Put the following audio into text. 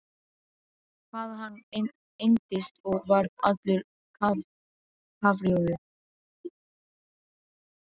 Hvað hann engdist og varð allur kafrjóður!